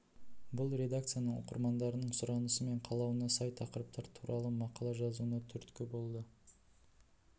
бұл редакцияның оқырмандардың сұранысы мен қалауына сай тақырыптар туралы мақала жазуына түрткі болады